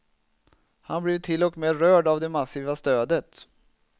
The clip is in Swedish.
Han blev till och med rörd av det massiva stödet.